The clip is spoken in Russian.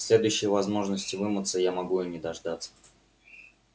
следующей возможности вымыться я могу и не дождаться